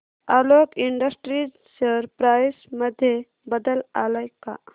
Alok industries share price मध्ये बदल आलाय का